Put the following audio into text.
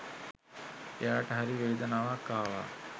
එයාට හරි වේදනාවක් ආවා.